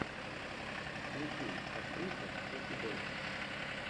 включи актриса кэти бейтс